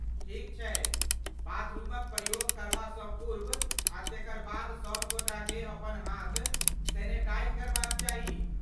ठीक छै, बाथरूमक प्रयोग करबासँ पूर्व आ तेकर बाद सभगोटाकेँ अपन हाथ सैनिटाइज करबाक चाही।